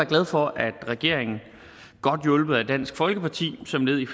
glad for at regeringen godt hjulpet af dansk folkeparti som led i